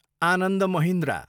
Anand Mahindra